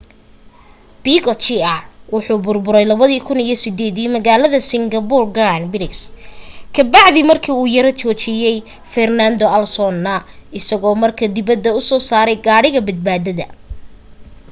piquet jr wuxuu burburay 2008 magalada singapore grand prix ka bacdi marki uu yara joojiyey fernando alonso isago marka dibada u soo saray gaadhiga badbaadada